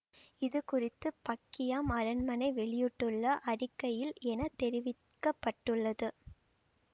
இது குறித்து பக்கிங்காம் அரண்மனை வெளியிட்டுள்ள அறிக்கையில் என தெரிவிக்க பட்டுள்ளது